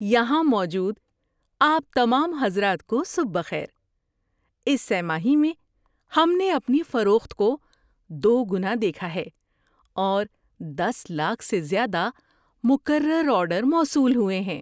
یہاں موجود آپ تمام حضرات کو صبح بخیر۔ اس سہ ماہی میں ہم نے اپنی فروخت کو دوگنا دیکھا ہے اور دس لاکھ سے زیادہ مکرر آرڈر موصول ہوئے ہیں۔